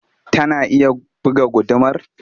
Tana iya buga gudumar?